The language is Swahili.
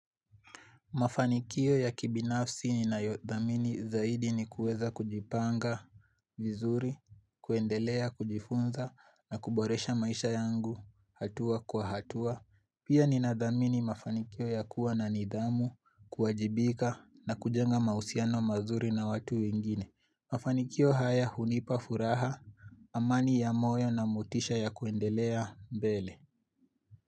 Mafanikio ya kibinafsi ninayodhamini zaidi ni kuweza kujipanga vizuri, kuendelea, kujifunza na kuboresha maisha yangu hatua kwa hatua. Pia ninadhamini mafanikio ya kuwa na nidhamu, kuwajibika na kujenga mahusiano mazuri na watu wengine. Mafanikio haya hunipa furaha, amani ya moyo na motisha ya kuendelea mbele.